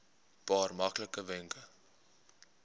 paar maklike wenke